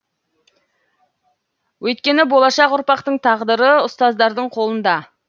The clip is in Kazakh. өйткені болашақ ұрпақтың тағдыры ұстаздардың қолында